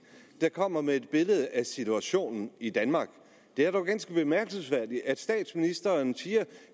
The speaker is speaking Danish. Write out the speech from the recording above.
der kommer med et billede af situationen i danmark det er dog ganske bemærkelsesværdigt at statsministeren siger